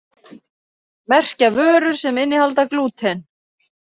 Merkja vörur sem innihalda glúten